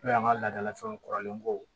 N'o y'an ka ladalafɛnw kɔrɔlen kow